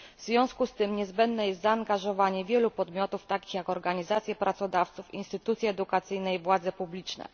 W związku z tym niezbędne jest zaangażowanie wielu podmiotów, takich jak organizacje pracodawców, instytucje edukacyjne i władze publiczne.